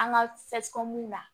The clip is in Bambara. An ka na